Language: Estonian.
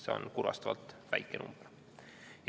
See on kurvastavalt väike number.